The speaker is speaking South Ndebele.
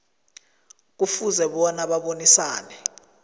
kufuze bona abonisane